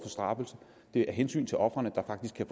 straffet det er af hensyn til ofrene der faktisk kan